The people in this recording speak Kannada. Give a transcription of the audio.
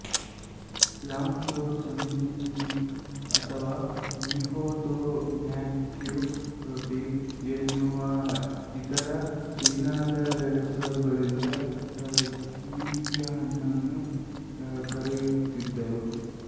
ಯಾಂಗ್ ತೊ ಸನ್ನಿ ಪೀಚ್ ಅಥವಾ ಮಿಹೋ ತೊ ಮ್ಯಾಕ್ಯು ಪೀಚ್ ಎನ್ನುವ ಇದರ ಚೀನಾದ ಹೆಸರುಗಳಿಂದ ಕೀವಿಹಣ್ಣನ್ನು ಕರೆಯುತ್ತಿದ್ದರು